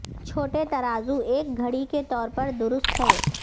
چھوٹے ترازو ایک گھڑی کے طور پر درست ہیں